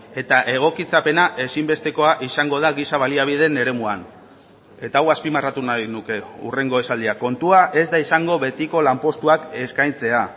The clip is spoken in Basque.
eta egokitzapena ezinbestekoa izango da giza baliabideen eremuan eta hau azpimarratu nahi nuke hurrengo esaldia kontua ez da izango betiko lanpostuak eskaintzea